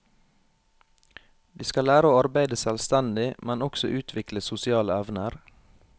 De skal lære å arbeide selvstendig, men også utvikle sosiale evner.